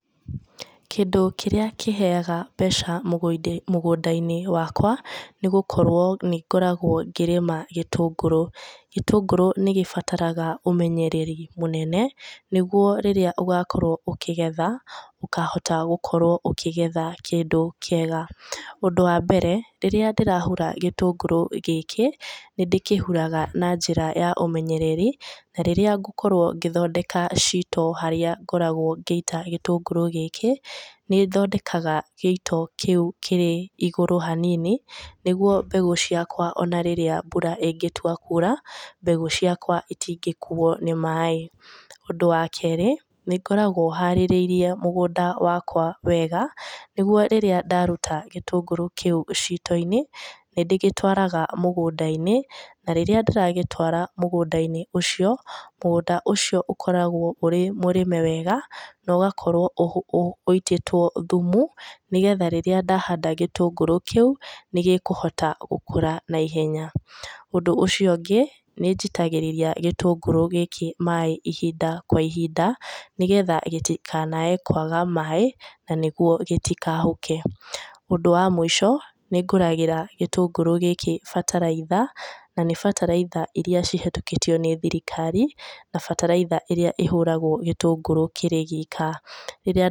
Kĩndũ kĩrĩa kĩheaga mbeca mũgũnda-inĩ wakwa nĩ gũkorwo nĩ ngoragwo ngĩrĩma gĩtũngũrũ. Gĩtũngũrũ nĩ gĩbatarga ũmenyereri mũnene nĩgũo rĩrĩa ũgakorwo ũkĩgetha ũkahota gũkorwo ũkĩgetha kĩndũ kĩega. Ũndũ wa mbere rĩrĩa ndĩrahura gĩtũngũrũ gĩkĩ nĩ ndĩkĩhuraga na njira ya ũmenyereri na rĩrĩa ngũkorwo ngĩthondeka ciito harĩa ngoragwo ngĩita gĩtũngũrũ gĩkĩ nĩ thondeka gĩito kĩũ kĩrĩ igũrũ hanini nĩgũo mbegũ cĩakwa ona rĩrĩa mbura ĩngĩtũa kũũra mbegũ cĩakwa itingĩkuo nĩ maĩi. Ũndũ wa keri nĩ ngoragwo harĩrĩirie mũgũnda wakwa wega nĩgũo rĩrĩa ndarũta gĩtũngũrũ kĩũ ciito-inĩ nĩ ndĩgĩtwaraga mũgũnda-inĩ na rĩrĩa ndĩragĩtwara mũgũnda-inĩ ũcio, mũgũnda ũcio ukoragwo ũrĩ mũrĩme wega na ũgakorwo ũitĩtwo thũmu nĩgetha rĩrĩa ndahanda gĩtũngũrũ kĩũ nĩ gĩkũhota gũkũra naihenya. Ũndũ ucio ũngĩ, nĩ njitagĩrĩria gĩtũnguru gĩkĩ maĩĩ ihinda kwa ihinda nĩgetha gĩtĩkanae kwaga maĩĩ na nĩgũo gĩtikahũke. Ũndũ wa mũico, nĩ ngũragĩra gĩtũngurũ gĩkĩ bataraitha na nĩ batalaitha iria cihetũkĩtio nĩ thirikari na bataraitha ĩrĩa ĩhũragwo gĩtũngũrũ kĩrĩ gĩika.